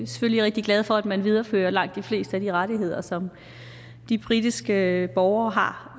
selvfølgelig rigtig glade for at man viderefører langt de fleste af de rettigheder som de britiske borgere har